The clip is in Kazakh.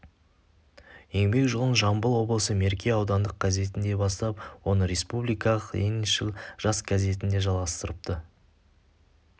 еңбек жолын жамбыл облысы мерке аудандық газетінде бастап оны республикалық лениншіл жас газетінде жалғастырыпты